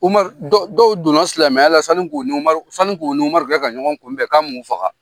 Umaru, dɔw dɔw donna silamɛya la sanni k'o n'Umaru, sanni k'o n'Umaru kɛ ka ɲɔgɔn kun bɛn k'a m'o faga.